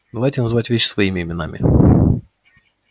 давайте называть вещи своими именами